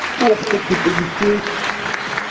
топ так это не фейк